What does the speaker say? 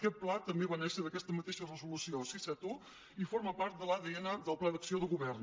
aquest pla també va néixer d’aquesta mateixa resolució sis cents i setanta un i forma part de l’adn del pla d’acció de govern